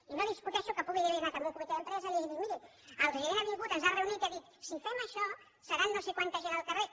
i no discuteixo que pugui haver anat a un comitè d’empresa i li hagin dit miri el gerent ha vingut ens ha reunit i ha dit si fem això seran no sé quanta gent al carrer